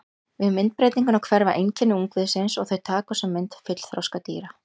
Við myndbreytingu hverfa einkenni ungviðisins og þau taka á sig mynd fullþroska dýra.